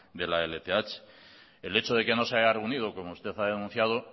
de la lth el hecho de que no se haya reunido como usted ha denunciado